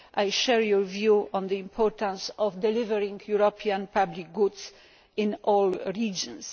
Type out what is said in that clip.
I share your view on the importance of delivering European public goods in all regions.